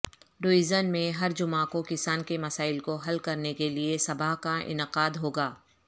division میں ہر جمعہ کو کسان کے مسائل کو حل کرنے کیلئے سبھا کا انعقادہوگا